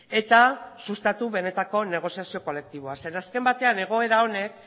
eta sustatu benetako negoziazio kolektiboa zeren azken batean egoera honek